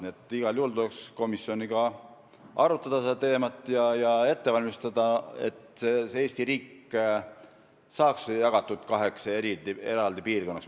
Nii et igal juhul tuleks komisjoniga seda teemat arutada ja see ette valmistada, et Eesti riik saaks jagatud kaheks piirkonnaks.